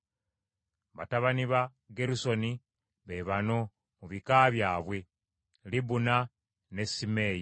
Batabani ba Gerusoni be bano mu bika byabwe: Libuni ne Simeeyi.